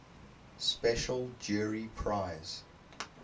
special jury prize